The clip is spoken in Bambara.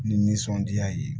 Ni nisɔndiya ye